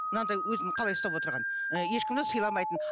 мынандай өзін қалай ұстап отырған ыыы ешкімді сыйламайтын